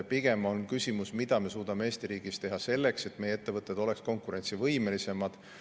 Pigem on küsimus, mida me suudame Eesti riigis teha selleks, et meie ettevõtted oleksid konkurentsivõimelisemad.